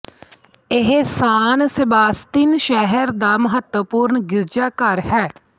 ਇਹ San Sebastian ਸ਼ਹਿਰ ਦਾ ਮਹਤਵਪੂਰਣ ਗਿਰਜਾਘਰ ਹੈ